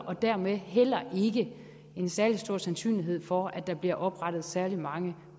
og dermed heller ikke en særlig stor sandsynlighed for at der bliver oprettet særlig mange